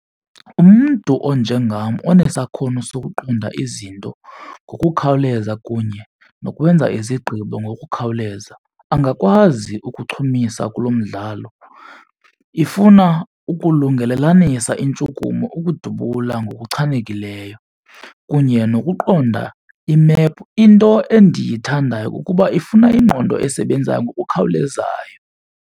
Umntu onjengam onesakhono sokuqonda izinto ngokukhawuleza kunye nokwenza izigqibo ngokukhawuleza angakwazi ukuchumisa kulo mdlalo. Ifuna ukulungelelanisa intshukumo ukudubula ngokuchanekileyo kunye nokuqonda imephu. Into endiyithandayo kukuba ifuna ingqondo esebenzayo ngokukhawulezayo.